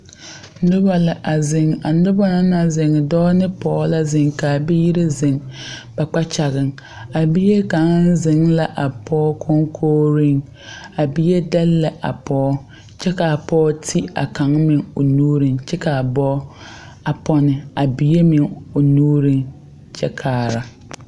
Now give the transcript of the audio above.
Noba la a zeŋ a noba na naŋ zeŋ dɔɔ ne pɔɡe la zeŋ la a biiri zeŋ ba kpakyaŋaŋ a bie kaŋa zeŋ la a pɔɡe kɔŋkooreŋ a bie dɛle la a pɔɔ kyɛ ka a pɔɔ te a kaŋ meŋ nuuriŋ kyɛ ka a boŋkpoŋ soba a pɔne a bie meŋ o nuuriŋ kyɛ kaara.